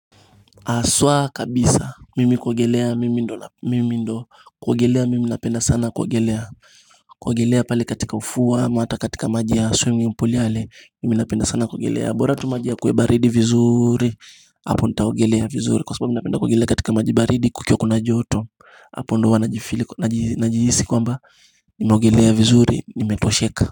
Haswa kabisa mimi kuogelea mimi ndo mimi ndo kuogelea mimi napenda sana kuogelea kuogelea pale katika ufua hata katika maji ya swimming pool yale mimi napenda sana kuogelea bora tu maji yakue baridi vizuri hapo nitaogelea vizuri kwa sababu napenda kuogelea katika maji baridi kukiwa kuna joto hapo ndio huwa najihisi kwamba Nimeogelea vizuri nimetosheka.